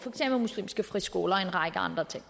muslimske friskoler og en række andre ting